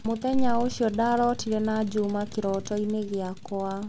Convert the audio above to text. Mũthenya ũcio ndaarotire na Juma kĩroto-inĩ gĩakwa